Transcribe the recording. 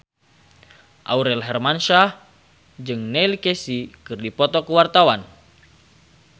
Aurel Hermansyah jeung Neil Casey keur dipoto ku wartawan